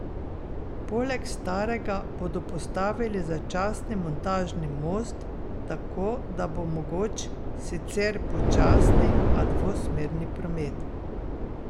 Poleg starega bodo postavili začasni montažni most, tako da bo mogoč sicer počasni, a dvosmerni promet.